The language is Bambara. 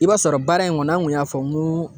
I b'a sɔrɔ baara in kɔnɔ an kun y'a fɔ n ko